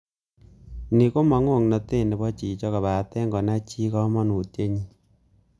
Ni komo ng'oknotet nebo chichok kobaten konai chii komonutienyin.